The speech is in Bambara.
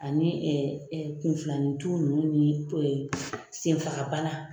Ani kunfilanintu nunnu ni senfagabana